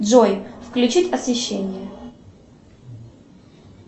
джой включить освещение